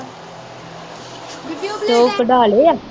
ਅਤੇ ਉਹ ਕਢਾ ਲਏ ਹੈ